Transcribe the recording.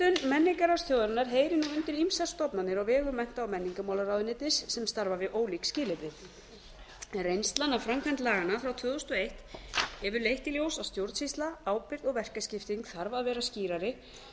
verndun menningararfs þjóðarinnar heyrir nú undir ýmsar stofnanir á vegum mennta og menningarmálaráðuneytis sem starfa við ólík skilyrði reynslan af framkvæmd laganna frá tvö þúsund og eitt hefur leitt í ljós að stjórnsýsla ábyrgð og verkaskipting þarf að vera skýrari